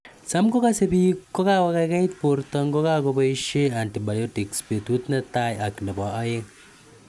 Cham ko kase piik kokakokaikait porto ngo poishe antibiotic petut ne tai ak nebo aeng'